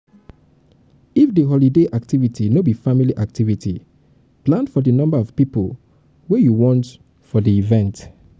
if di holiday activity no be family activity plan for di number of pipo wey you want for di event